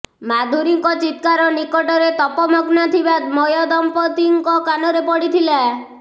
ମାଧୁରୀଙ୍କ ଚିତ୍କାର ନିକଟରେ ତପମଗ୍ନ ଥିବା ମୟଦମ୍ପତିଙ୍କ କାନରେ ପଡ଼ିଥିଲା